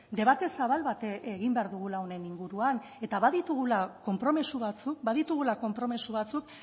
debate zabal bat egin behar dugula honen inguruan eta baditugula konpromiso batzuk baditugula konpromiso batzuk